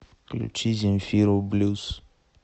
включи земфиру блюз